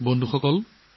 বন্ধু বান্ধৱীসকল